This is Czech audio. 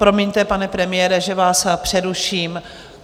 Promiňte, pane premiére, že vás přeruším.